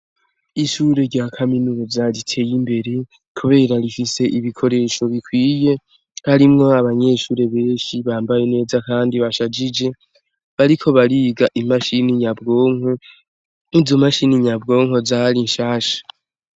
Ishure rya kaminuza riteye imbere kubera rifise ibikoresho bikwiye harimwo abanyeshure benshi bambaye neza kandi bashajije bariko bariga imashini nyabwonko izo mashini nyabwonko zari nshasha.